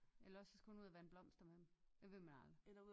Eller også så skulle hun ud at vande blomster med den det ved man aldrig